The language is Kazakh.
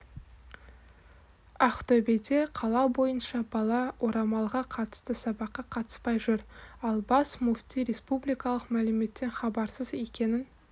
ақтөбеде қала бойынша бала орамалға қатысты сабаққа қатыспай жүр ал бас мүфти республикалық мәліметтен хабарсыз екенін